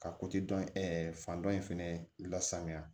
Ka dɔ in fan dɔ in fɛnɛ lasanuya